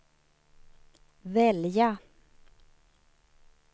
välja